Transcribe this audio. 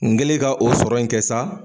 N kɛlen ka o sɔrɔ in kɛ sa